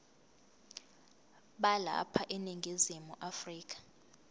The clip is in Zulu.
balapha eningizimu afrika